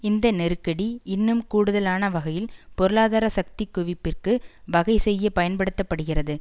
இந்த நெருக்கடி இன்னும் கூடுதலான வகையில் பொருளாதர சக்தி குவிப்பிற்கு வகை செய்ய பயன்படுத்த படுகிறது